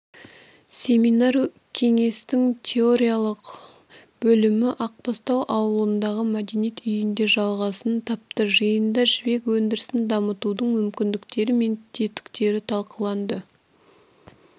семинар кеңестің теориялық бөлімі ақбастау ауылындағы мәдениет үйінде жалғасын тапты жиында жібек өндірісін дамытудың мүмкіндіктері мен тетіктері талқыланды